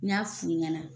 N y'a f'u ɲana